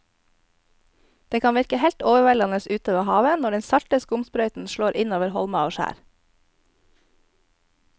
Det kan virke helt overveldende ute ved havet når den salte skumsprøyten slår innover holmer og skjær.